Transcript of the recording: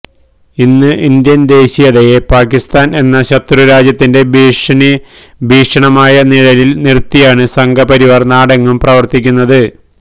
ഇന്ന് ഇന്ത്യന് ദേശീയതയെ പാകിസ്താന് എന്ന ശത്രുരാജ്യത്തിന്റെ ഭീഷണമായ നിഴലില് നിര്ത്തിയാണ് സംഘ്പരിവാര് നാടെങ്ങും പ്രവര്ത്തിക്കുന്നത്